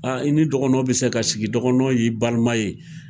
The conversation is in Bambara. Aa i ni dɔgɔnɔw bi se ka sigi dɔgɔnɔw y'i baliman ye.